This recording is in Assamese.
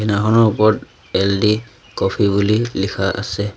দোকানখনৰ ওপৰত এল_দি কফি বুলি লিখা আছে।